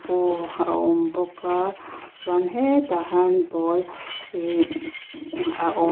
a awm bawk a chuan he tah hian ball ihh a aw--